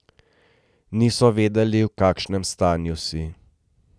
Niso vedeli, v kakšnem stanju si.